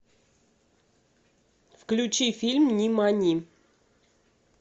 включи фильм нимани